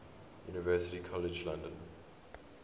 university college london